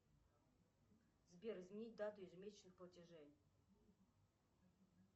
сбер изменить дату ежемесячных платежей